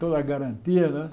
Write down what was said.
Toda a garantia né.